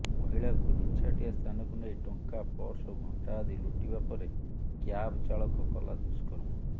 ମହିଳାଙ୍କୁ ନିଛାଟିଆ ସ୍ଥାନକୁ ନେଇ ଟଙ୍କା ପର୍ସ ଓ ଘଣ୍ଟା ଆଦି ଲୁଟିବା ପରେ କ୍ୟାବ୍ ଚାଳକ କଲା ଦୁଷ୍କର୍ମ